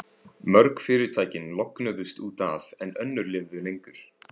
Mörg fyrirtækin lognuðust út af, en önnur lifðu lengur.